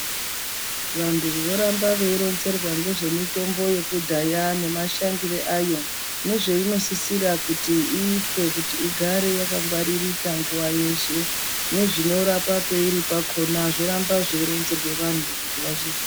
Vantu voramba veironzerwa ngezvemitombo yekudhaya nemashandire ayo nezveinosisira kuti iitwe kuti igare yakangwaririka nguwa yeshe nezvinorapa peiri pakhona zvoramba zveironzere vanhu kuti vazvizi.